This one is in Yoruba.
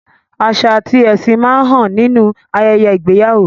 Àṣà àti ẹ̀sìn máa ń hàn nínú ayẹyẹ ìgbéyàwó.